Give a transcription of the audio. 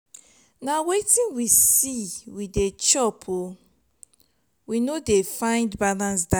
na wetin we see we dey chop we no dey find balanced diet.